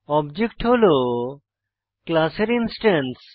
object হল class এর instance